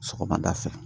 Sɔgɔmada fɛ